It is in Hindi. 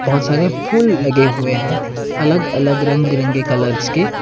बहोत सारे फूल लगे हुए हैं अलग अलग रंग बिरंगे कलर्स के।